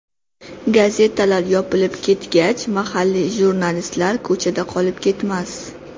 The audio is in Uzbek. Gazetalar yopilib ketgach mahalliy jurnalistlar ko‘chada qolib ketmas.